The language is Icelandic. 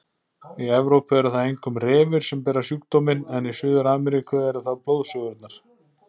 Í Evrópu eru það einkum refir sem bera sjúkdóminn en í Suður-Ameríku eru það blóðsugurnar.